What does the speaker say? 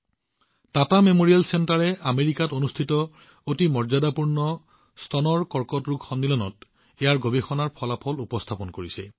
Tata memorial কেন্দ্ৰই আমেৰিকাত অনুষ্ঠিত অতি সন্মানীয় স্তন কৰ্কট সন্মিলনত ইয়াৰ গৱেষণাৰ ফলাফল উপস্থাপন কৰিছে